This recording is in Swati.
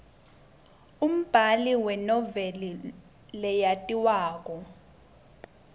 umbali wenoveli leyatiwako